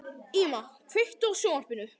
Íma, kveiktu á sjónvarpinu.